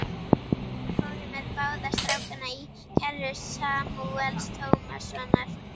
Þær fóru með báða strákana í kerru Samúels Tómassonar.